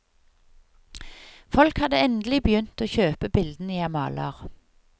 Folk hadde endelig begynt å kjøpe bildene jeg maler.